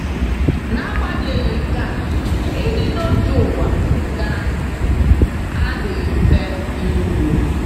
N’agbanyeghị nke a, ịdị n’otu ụwa ka adịghị mfe iru.